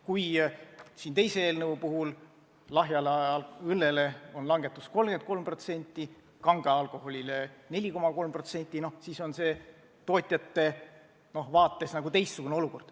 Kui teise eelnõu kohaselt lahja õlle aktsiisi langetataks 33% ja kangel alkoholil 4,3%, siis on see tootjate vaates teistsugune olukord.